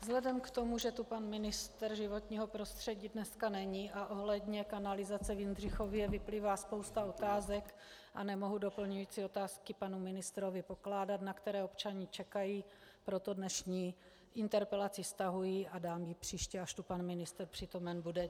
Vzhledem k tomu, že tu pan ministr životního prostředí dneska není a ohledně kanalizace v Jindřichově vyplývá spousta otázek a nemohu doplňující otázky panu ministrovi pokládat, na které občané čekají, proto dnešní interpelaci stahuji a dám ji příště, až tu pan ministr přítomen bude.